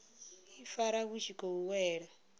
ifara vhu tshi khou wela